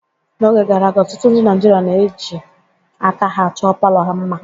N'oge gara aga, ọtụtụ ndị Naịjirịa ji aka ha chọọ palọ ha mma.